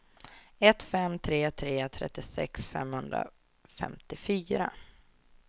ett fem tre tre trettiosex femhundrafemtiofyra